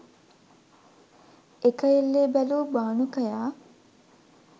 එක එල්ලේ බැලූ බානුකයා